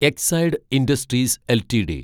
Exide Industries LTD